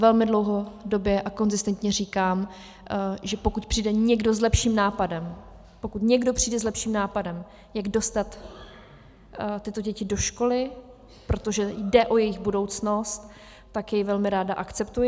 Velmi dlouhodobě a konzistentně říkám, že pokud přijde někdo s lepším nápadem, pokud někdo přijde s lepším nápadem, jak dostat tyto děti do školy, protože jde o jejich budoucnost, tak jej velmi ráda akceptuji.